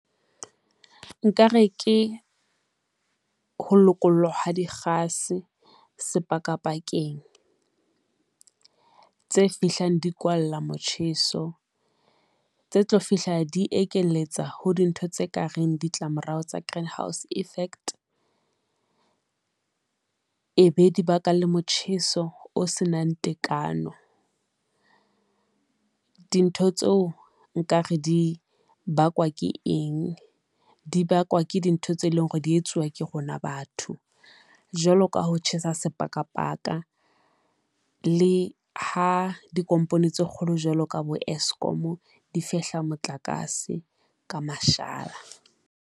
Nkare ke ho lokollwa ha dikgase sepakapakeng tse fihlang di kwalla motjheso tse tlo fihla di ekeletsa ho dintho tse kareng ditlamorao tsa greenhouse effect e be dibaka le motjheso o se nang tekano. Dintho tseo nka re di bakwa ke eng, di bakwa ke dintho tse leng hore di etsuwa ke rona batho, jwalo ka ho tjhesa sepakapaka, le ha dikompone tse kgolo jwalo ka bo Eskom difehla motlakase ka mashala.